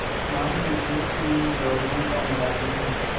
मान लीजिए कि मैं गवर्नमेंट का मुलाजिम हूँ